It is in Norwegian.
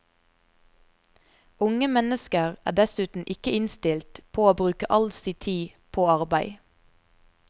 Unge mennesker er dessuten ikke innstilt på å bruke all si tid på arbeid.